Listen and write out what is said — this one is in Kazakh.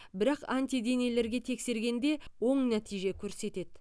бірақ антиденелерге тексергенде оң нәтиже көрсетеді